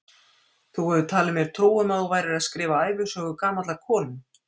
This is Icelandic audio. Þú hefur talið mér trú um að þú værir að skrifa ævisögu gamallar konu.